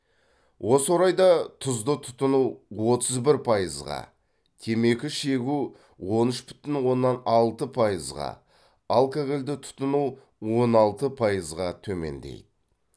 осы орайда тұзды тұтыну отыз бір пайызға темекі шегу он үш бүтін оннан алты пайызға алкогольді тұтыну он алты пайызға төмендейді